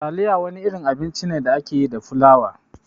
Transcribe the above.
Taliya wani irin abinci ne da ake yi da flawa.